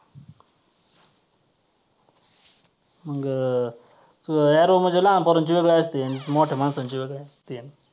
मग arrow म्हणजे लहान पोरांचे वेगळे असते अन मोठ्या माणसांचे वेगळे असते.